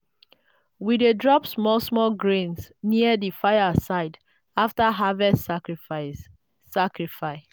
we dey drop small small grains near di fire side after harvest sacrifice. sacrifice.